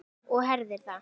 Og herðir að.